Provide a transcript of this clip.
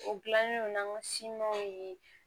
O gilanlen don n'an ko ye